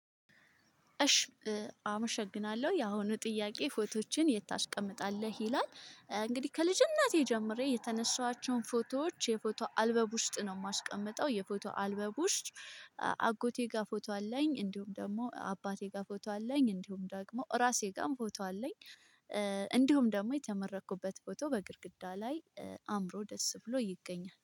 እሽ አመሸግናለሁ ያሁኑ ጥያቄ ፎቶዎችን የት ታስቀምጣለህ ይላል? እንግዲህ ከልጅነቴ ጀምሬ የተነሳኋቸውን ፎቶዎች የፎቶ አልበም ውስጥ ነው የማስቀምጠው የፎቶ አልበም ውስጥ። ጋር ፎቶ አለኝ እንዲሁም ደግሞ አባቴ ጋር ፎቶ አለኝ እንዲሁም ደግሞ ራሴ ጋርም ፎቶ አለኝ። እንደውም ደግሞ የተመረኩበት ፎቶ በግድግዳ ላይ አምሮ ደስ ብሎ ይገኛል